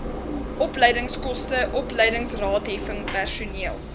opleidingskoste opleidingsraadheffing personeel